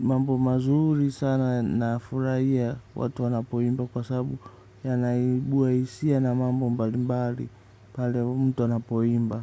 mambo mazuri sana na furahia watu wanapoimba kwa sabu yanaibua hisia na mambo mbalimbali pale mtu anapoimba.